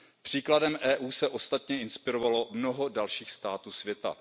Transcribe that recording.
Příkladem EU se ostatně inspirovalo mnoho dalších států světa.